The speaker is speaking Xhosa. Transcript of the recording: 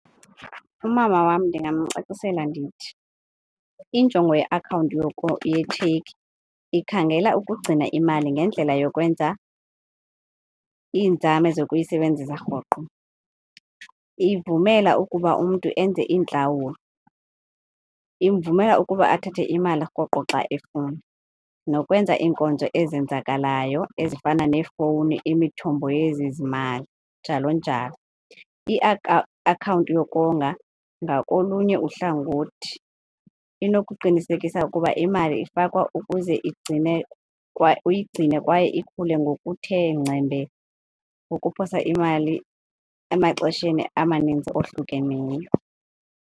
Umama wam ndingamcacisela ndithi injongo yeakhawunti yetshekhi ikhangela ukugcina imali ngendlela yokwenza iinzame zokuyisebenzisa rhoqo. Ivumela ukuba umntu enze iintlawulo, imvumela ukuba athathe imali rhoqo xa efuna nokwenza iinkonzo ezenzakalayo ezifana neefowuni, imithombo yezezimali njalo njalo. akhawunti yokonga ngakolunye uhlangothi inokuqinisekisa ukuba imali ifakwa ukuze igcine uyigcine kwaye ikhule ngokuthe ngcembe ukuphosa imali emaxesheni amaninzi ohlukeneyo.